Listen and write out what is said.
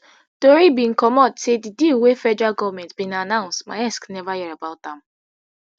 tori bin comot say di deal wey federal goment bin announce maersk neva hear about am